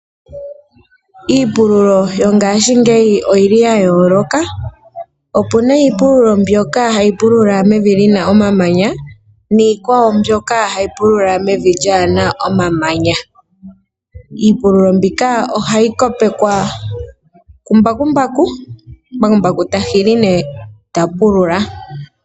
Iipululo yongaashingeyi oyi li ya yooloka, opuna iipululo mbyoka hayi pulula mevi lina omamanya niikwawo mbyoka hayi pulula mevi lyaana omamanya. Iipululo mbika ohayi kopekwa ku mbakumbaku, mbakumbaku ta hili nee tapulula.